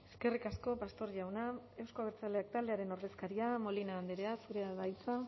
eskerrik asko pastor jauna euzko abertzaleak taldearen ordezkaria molina andrea zurea da hitza